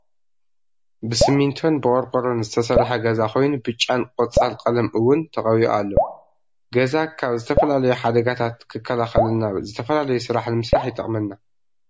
ብሲሚቶን ብቆርቆረን ዝተሰረሐ ገዛ ኮይኑ ብጫን ቆፃሕ ቀለም እውን ተቀቢኡ ኣሎ። ገዛ ካብ ዝተፈላለዩ ሓደጋታት ክከላከለልና ዝተፈላለዩ ስራሕ ንምስራሕ ይጠቅመና።